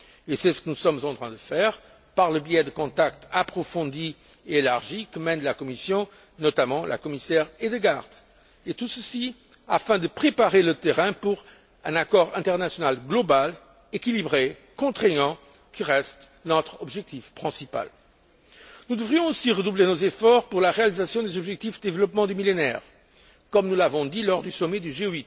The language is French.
C'est ce que nous sommes en train de faire par le biais des contacts approfondis et élargis que mène la Commission, notamment la commissaire Hedegaard, pour préparer le terrain en vue d'un accord international global, équilibré et contraignant, qui reste notre objectif principal. Nous devrions aussi redoubler nos efforts pour la réalisation des objectifs du Millénaire pour le développement, comme nous l'avons dit lors du sommet du